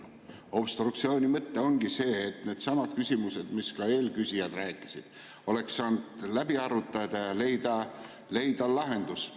Obstruktsiooni mõte ongi see, et oleks saanud needsamad küsimused, millest ka eelküsijad rääkisid, läbi arutada ja leida lahenduse.